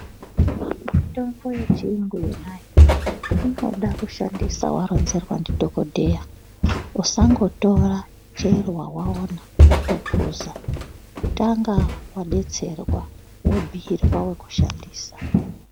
Mitombo yechiyungu yonayo inoda kushandisa waronzerwa ndidhokodheya usangotora chero wawaona wotophuza. Tanga wadetserwa wobhuirwa wekushandisa.